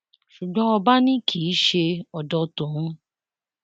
ṣùgbọn ọba náà ni kì í ṣe odò tòun o